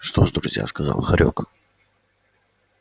что ж друзья сказал хорёк